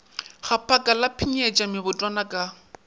gaphaka la pshinyetša mebotwana ka